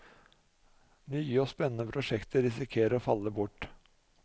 Nye og spennende prosjekter risikerer å falle bort.